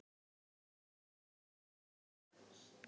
Eitthvað er eins og falinn eldur